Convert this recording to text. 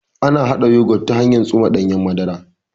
Ana haɗa Yogut ta hanyan tsuma ɗanyen madara